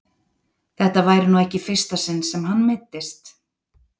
Þetta væri nú ekki í fyrsta sinn sem hann meiddist.